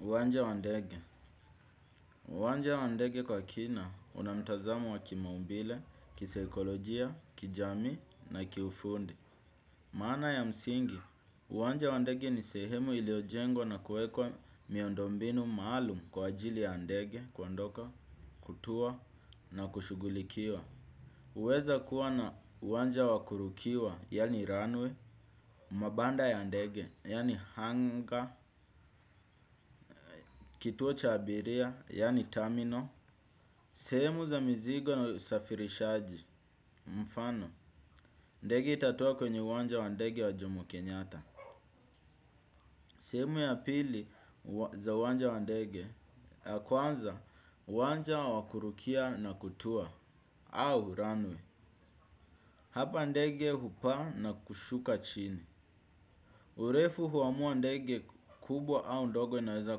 Uwanja wa ndege. Uwanja wa ndege kwa kina una mtazamo wa kimaumbile, kisaikolojia, kijamii na kiufundi. Maana ya msingi, uwanja wa ndege ni sehemu iliojengo na kuekwa miondombinu maalum kwa ajili ya ndege kuondoka, kutua na kushughulikiwa. Uweza kuwa na uwanja wa kurukiwa, yani runway, mabanda ya ndege, yani hanga, kituo cha abiria, yani tamino, sehemu za mizigo na usafirishaji. Mfano, ndege itatua kwenye uwanja wa ndege wa jomo kenyata. Sehemu ya pili za uwanja wa ndege, ya kwanza uwanja wa kurukia na kutua, au runway. Hapa ndege hupaa na kushuka chini. Urefu huamua ndege kubwa au ndogo inaweza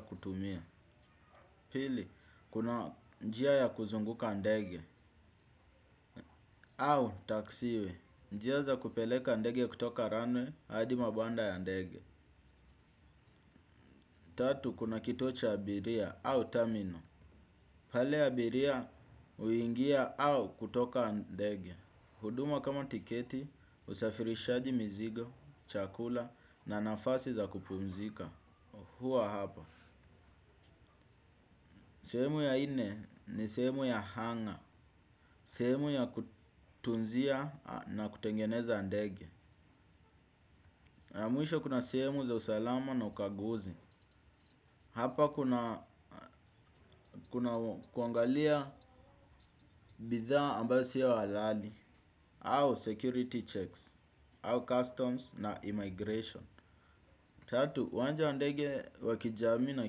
kutumia. Pili kuna njia ya kuzunguka ndege au taxi way. Njia za kupeleka ndege kutoka runway hadi mabanda ya ndege tatu kuna kituo cha abiria au terminal. Pale abiria uingia au kutoka ndege. Huduma kama tiketi usafirishaji mzigo, chakula na nafasi za kupumzika huwa hapa. Sehemu ya ine ni sehemu ya hangar sehemu ya kutunzia na kutengeneza ndege mwisho kuna sehemu za usalama na ukaguzi. Hapa kuna kuangalia bidhaa ambayo sio alali. Au security checks. Au customs na immigration tatu, uwanja ndege wa kijamii na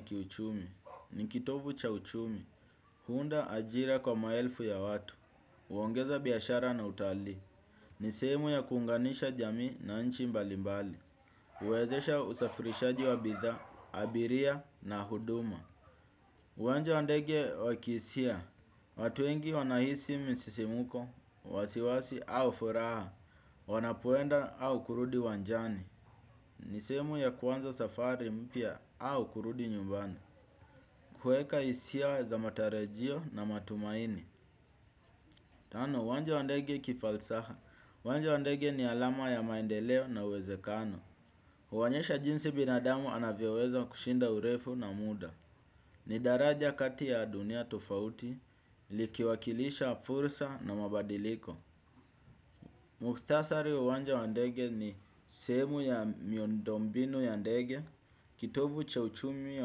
kiuchumi ni kitovu cha uchumi. Huunda ajira kwa maelfu ya watu. Uongeza biashara na utalii. Ni sehemu ya kuunganisha jamii na nchi mbalimbali. Uwezesha usafirishaji wa bithaa, abiria na huduma. Uwanja wa ndege wa kiisia. Watu wengi wanaisi misisimuko, wasiwasi au furaha. Wanapoenda au kurudi uwanjani. Ni sehemu ya kuanza safari mpya au kurudi nyumbani. Kueka isia za matarajio na matumaini. Tano, uwanja wa ndege kifalsaha. Uwanja wa ndege ni alama ya maendeleo na uwezekano. Huonyesha jinsi binadamu anavyoweza kushinda urefu na muda. Ni daraja kati ya dunia tofauti, likiwakilisha fursa na mabadiliko. Muktasari wa uwanja wa ndege ni sehemu ya miondombinu ya ndege, kitovu cha uchumi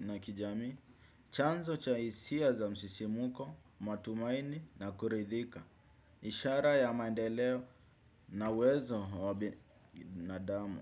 na kijamii, chanzo cha isia za msisimuko, matumaini na kuridhika. Ishara ya maendeleo na uwezo wa binadamu.